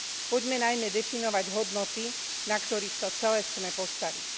Poďme najmä definovať hodnoty, na ktorých to celé chceme postaviť.